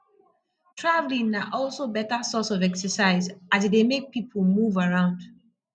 travelling na also better source of exercise as e dey make pipo move around